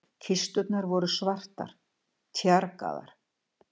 Kisturnar voru svartar, tjargaðar.